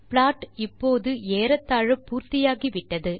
plot இப்போது ஏறத்தாழ பூர்த்தி ஆகிவிட்டது